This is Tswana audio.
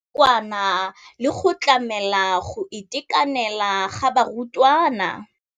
Ya nakwana le go tlamela go itekanela ga barutwana.